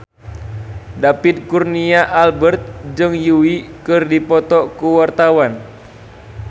David Kurnia Albert jeung Yui keur dipoto ku wartawan